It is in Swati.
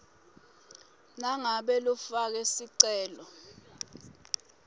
nangabe lofake sicelo